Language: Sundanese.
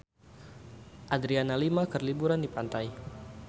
Adriana Lima keur liburan di pantai